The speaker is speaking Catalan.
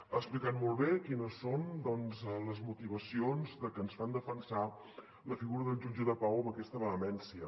ha explicat molt bé quines són doncs les motivacions que ens fan defensar la figura del jutge de pau amb aquesta vehemència